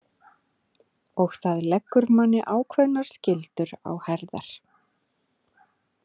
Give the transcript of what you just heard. Og það leggur manni ákveðnar skyldur á herðar.